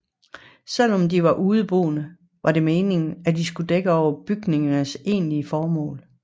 Selv om de var ubeboede var det meningen at de skulle dække over bygningernes egentlige formål